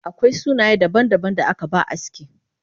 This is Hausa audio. Akwai sunaye daban daban da akaba aski